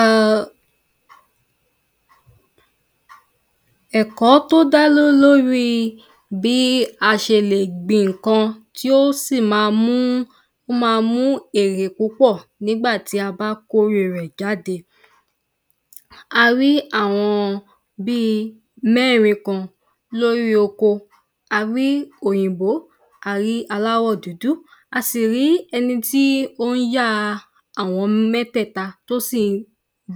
E̩ È̩ko̩ tó dá ló lóríi bí a s̩e lè gbin ǹkan tí ó sì máa mú má a mú èrè púpò̩ nígbàtí a bá kóre rè̩ jáde. Arí àwo̩n bi mé̩rin kan lórí oko, arí òyìnbó, arí aláwò̩ dúdú, asì rí e̩ni tí ó ń ya àwo̩n mé̩té̩ta, tí ó sìn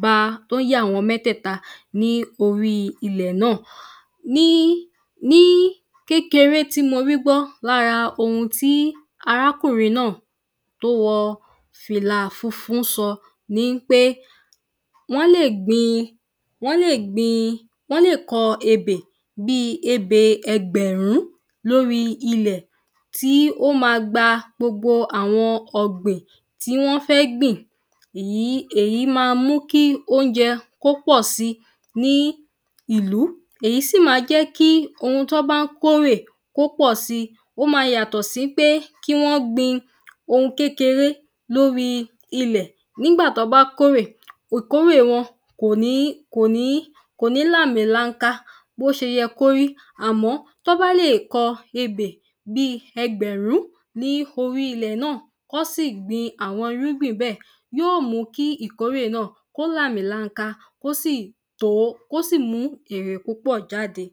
ba tí ó n yá àwo̩n mé̩té̩ta ní orí ilè̩ na. Ní Ní kékeré tí mo rí gbó̩ lára ohun tí arákùrin na tó wo̩ fìlà funfun ń so̩ ni ń pé wó̩n lè gbin wó̩n lè gbin wó̩n lè ko̩ ebè bi ebè e̩gbè̩rún lóri ilè̩ tí ó ma gba gbogbo àwo̩n o̩gbìn tí wó̩n fé̩ gbìn. Yìí èyí ma mú kí ónje̩ kó pò̩ si ní ìlú, èyi sí ǹ ma jé̩kí oun tí wó̩n bá ń kó rè kó pò̩ si, ó ma yàtò̩ sín pé kí wó̩n gbin oun kékeré lóri ilè̩ nígbà tí wó̩n bá kórè ìkórè wo̩n. Kò ní, kò ní, kò ní láàmì lanka bó s̩eye̩ kó rí, àmó̩ tó̩ bá le ko̩ ebè bi e̩gbè̩rún ní orí ilè̩ na kí wó̩n sì gbin àwo̩n irúgbìn be̩, yí ó mu kí ìkórè na kó láàmì lanka, kó sì to, kó sì mùú ìrè púpò̩ jáde.